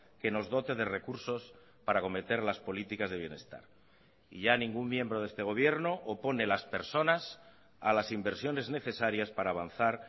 que nos dote de recursos para acometer las políticas de bienestar y ya ningún miembro de este gobierno opone las personas a las inversiones necesarias para avanzar